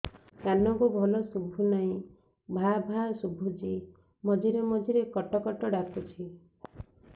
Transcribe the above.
କାନକୁ ଭଲ ଶୁଭୁ ନାହିଁ ଭାଆ ଭାଆ ଶୁଭୁଚି ମଝିରେ ମଝିରେ କଟ କଟ ଡାକୁଚି